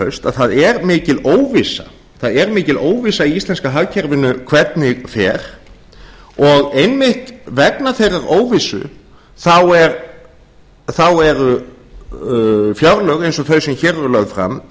haust að það er mikil óvissa í íslenska hagkerfinu um hvernig fer og einmitt vegna þeirrar óvissu eru fjárlög eins og þau sem hér eru lögð fram enn verri